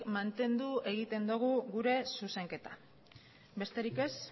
mantendu egiten dugu gure zuzenketa besterik ez